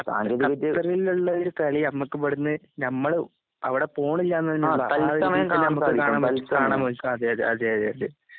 ഖത് ഖത്തറിലുള്ളൊരുകളിയമ്മക്കിവിടുന്ന് ഞമ്മളുഅവിടെപോണില്ലാന്ന്തന്നെനിന്നതാ കാണാൻപറ്റും കാണാൻപക്കതേയതേയതേ